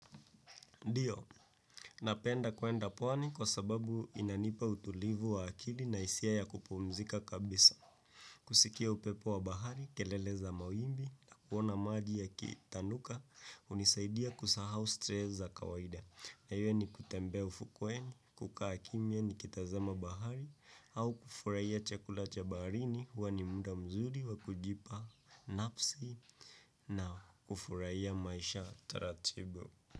Ndiyo, napenda kwenda pwani kwa sababu inanipa utulivu wa akili na hisia ya kupumzika kabisa. Kusikia upepo wa bahari, kelele za mawimbi, na kuona maji yakitanuka, hunisaidia kusahau stress za kawaida. Ni kutembea ufukuweni, kukaa kimya nikitazama bahari, au kufurahia chakula cha baharini huwa ni muda mzuri wa kujipa nafsi na kufurahia maisha taratibu.